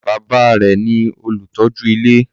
Bàbá a rẹ̀ ní olùtọ́jú ilé.